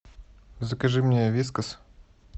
закажи мне вискас